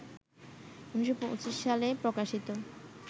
১৯২৫ সালে প্রকাশিত